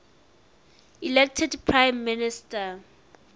elected prime minister